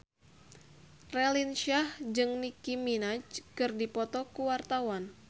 Raline Shah jeung Nicky Minaj keur dipoto ku wartawan